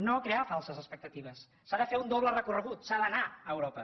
no crear falses expectatives s’ha de fer un doble recorregut s’ha d’anar a europa